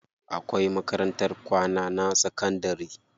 Akwai makarantar kwana na sakandari.